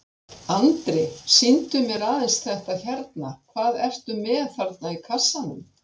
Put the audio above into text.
Andri: Sýndu mér aðeins þetta hérna, hvað ertu með þarna í kassanum?